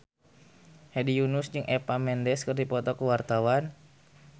Hedi Yunus jeung Eva Mendes keur dipoto ku wartawan